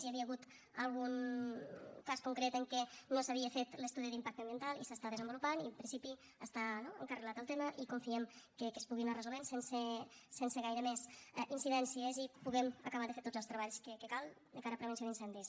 hi havia hagut algun cas concret en què no s’havia fet l’estudi d’impacte ambiental i s’està desenvolupat i en principi està no encarrilat el tema i confiem que es pugui anar resolent sense gaires més incidències i puguem acabar de fer tots els treballs que cal de cara a prevenció d’incendis